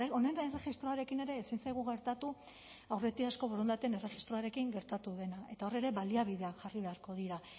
honen erregistroarekin ere ezin zaigu gertatu aurretiazko borondateen erregistroarekin gertatu dena eta hor ere baliabideak jarri beharko dira